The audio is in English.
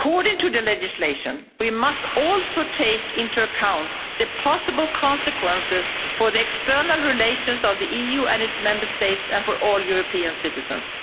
According to the legislation, we must also take into account the possible consequences for the external relations of the EU and its Member States and for all European citizens.